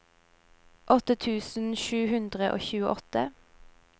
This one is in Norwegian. åtte tusen sju hundre og tjueåtte